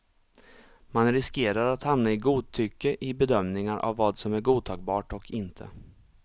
Man riskerar att hamna i godtycke i bedömningar av vad som är godtagbart och inte.